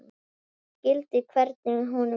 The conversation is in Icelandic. Ég skildi hvernig honum leið.